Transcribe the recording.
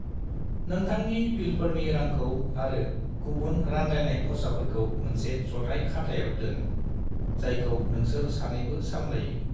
नोंथांनि बिलफोरनि रांखौ आरो गुबुन रानलायनाय खरसाफोरखौ मोनसे जथाय खाथायाव दोन, जायखौ नोंसोर सानैबो सामलायो।